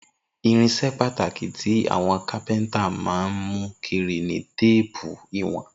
Irinṣẹ́ pàtàkì tí àwọn kápẹ́ńtà máa ń mú kiri ni téépù ìwọ̀n.